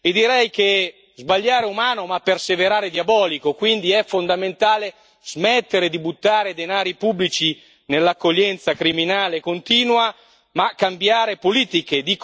E direi che sbagliare è umano ma perseverare è diabolico, quindi è fondamentale smettere di buttare denaro pubblico nell'accoglienza criminale e continua e cambiare politiche.